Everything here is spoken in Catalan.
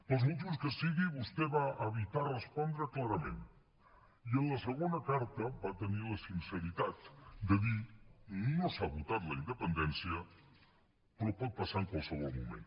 pels motius que sigui vostè va evitar respondre clarament i en la segona carta va tenir la sinceritat de dir no s’ha votat la independència però pot passar en qualsevol moment